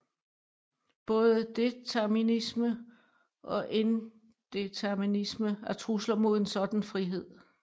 Både determinisme og indeterminisme er trusler mod en sådan frihed